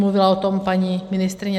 Mluvila o tom paní ministryně